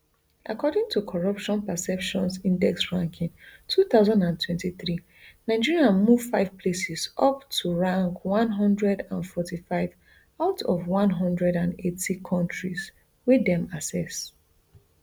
according to corruption perceptions index ranking two thousand and twenty-three nigeria move five places up to rank one hundred and forty-five out of one hundred and eighty kontris wey dem assess